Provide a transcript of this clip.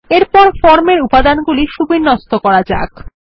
এরপর ফর্ম এর উপাদান গুলি সুবিন্যস্ত করা যাক